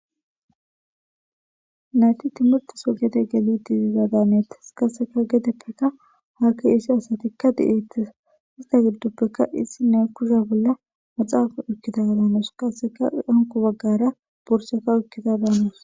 nayti timurteso gede geli diziza daanetes kaseka gedeppekka haakki issi asatikka di7etes ista girduppeka issi ne kusha bolla maxaa ikkita daanoos qasseka anku baggara borseka ikkida daanos